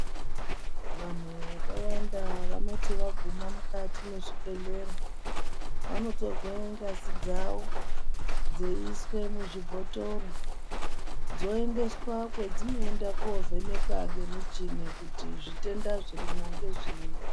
Vanhu vakawanda vanoti vaguma mukati mwezvibhehlera vonotorwe ngazi dzavo dzeiiswe muzvibhothoro, dzoendeswa kwedzinoenda kovhenekwa kwemichini kuti zvitenda zvirimwo ngezvei.